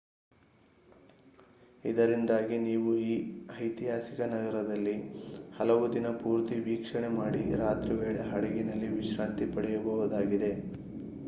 ಇದರಿಂದಾಗಿ ನೀವು ಈ ಐತಿಹಾಸಿಕ ನಗರದಲ್ಲಿ ಹಲವು ದಿನ ಪೂರ್ತಿ ವೀಕ್ಷಣೆ ಮಾಡಿ ರಾತ್ರಿವೇಳೆ ಹಡಗಿನಲ್ಲಿ ವಿಶ್ರಾಂತಿ ಪಡೆಯಬಹುದಾಗಿದೆ